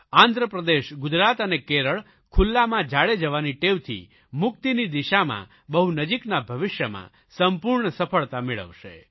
આંધ્રપ્રદેશ ગુજરાત અને કેરળ ખુલ્લામાં ઝાડે જવાની ટેવથી મુક્તિની દિશામાં બહુ નજીકના ભવિષ્યમાં સંપૂર્ણ સફળતા મેળવશે